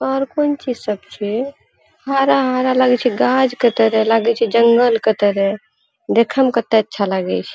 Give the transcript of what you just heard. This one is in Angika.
और कौन चीज सब छे हरा-हरा लागे छे गाछ के तरह लागे छे जंगल के तरह। देखे में कते अच्छा लागे छे।